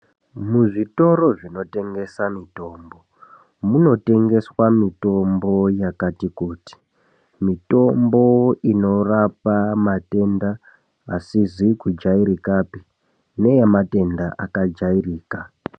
Muzvitoro zvinotengesa mitombo munotengeswa mitombo yakati kuti, mitombo inorapa matenda asizi kujairikapi neyematenda akajairika.